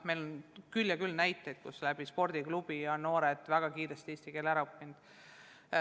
Meil on küll ja küll näiteid, kus spordiklubis on noored väga kiiresti eesti keele ära õppinud.